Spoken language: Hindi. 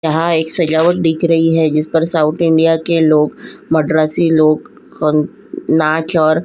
यहाँ एक सजावट दिख रही है जिसपर साउथ इंडिया के लोग मड्रासी लोग कं नाच और --